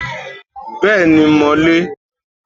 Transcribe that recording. Bẹ́ẹ̀ni, mo lè